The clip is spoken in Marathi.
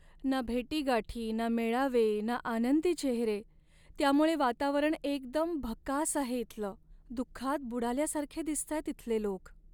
ना भेटीगाठी, ना मेळावे आणि ना आनंदी चेहरे, त्यामुळे वातावरण एकदम भकास आहे इथलं. दुःखात बुडाल्यासारखे दिसतायत इथले लोक.